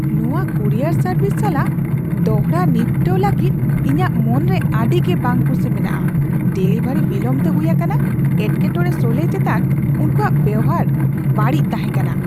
ᱱᱚᱶᱟ courier service ᱥᱟᱞᱟᱜ ᱫᱚᱲᱦᱟ ᱱᱤᱯᱴᱟᱹᱣ ᱞᱟᱹᱜᱤᱫ ᱤᱧᱟᱹᱜ ᱢᱚᱱᱨᱮ ᱟᱹᱰᱤᱜᱮ ᱵᱟᱝ ᱠᱩᱥᱤ ᱢᱮᱱᱟᱜᱼᱟ ᱾ ᱰᱮᱞᱤᱵᱷᱟᱹᱨᱤ ᱵᱤᱞᱚᱢ ᱛᱮ ᱦᱩᱭ ᱟᱠᱟᱱᱟ, ᱮᱴᱠᱮᱴᱚᱲᱮ ᱥᱚᱞᱦᱮᱭ ᱪᱮᱛᱟᱱ ᱚᱱᱠᱩᱣᱟᱜ ᱵᱮᱣᱦᱟᱨ ᱵᱟᱹᱲᱤᱡ ᱛᱟᱦᱮᱸ ᱠᱟᱱᱟ ᱾